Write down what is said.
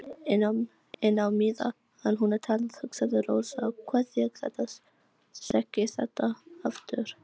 En á meðan hún talaði hugsaði Rósa: Hvað ég þekki þetta aftur.